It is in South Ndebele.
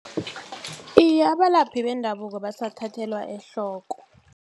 Iye, abalaphi bendabuko basathathelwa ehloko.